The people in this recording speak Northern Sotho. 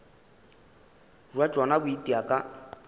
bja tšona bo itia ka